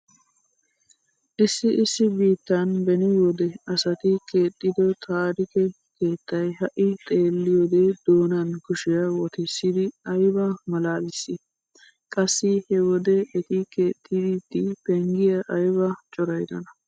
Issi issi biittan beni wode asati keexxido taarike keettay ha"i xeelliyode doonan kushiya wotissidi ayba malaalissi? Qassi he wode eti keexxiiddi penggiya ayba corayidona?